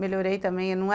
Melhorei também.